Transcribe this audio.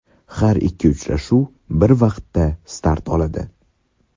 Har ikki uchrashuv bir vaqtda start oladi.